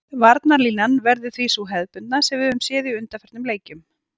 Varnarlínan verður því sú hefðbundna sem við höfum séð í undanförnum leikjum.